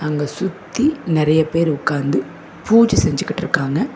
அங்க சுத்தி நிறைய பேரு உக்காந்து பூஜ செஞ்சிகிட்ருக்காங்க.